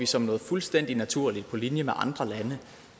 som noget fuldstændig naturligt på linje med andre lande